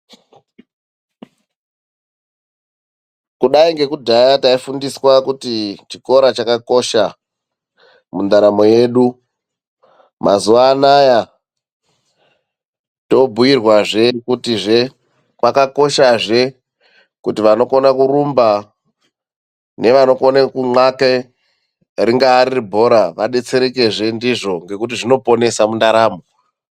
Kudai ngekudhaya taifundiswa kutii chikora chakakosha mundaramo yedu. Mazuva anaya tobhuirwa zve kuti zvakakosha zve kuti anokona kurumba nevanokona kunxake ringawe riribhora vadetserekezve ndizvo ngoekuti zvoponesa mundaramo.